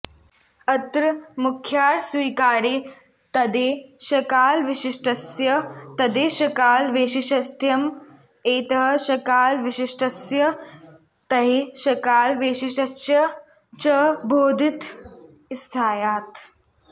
अत्र मुख्यार्थस्वीकारे तद्देशकालविशिष्टस्यैतद्देशकाल वैशिष्ट्यम् एतद्दॆशकालविशिष्टस्य तद्देशकालवैशिष्ट्यं च बोधितं स्यात्